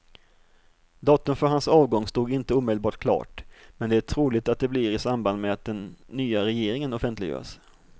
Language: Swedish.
Datum för hans avgång stod inte omedelbart klart, men det är troligt att det blir i samband med att den nya regeringen offentliggörs.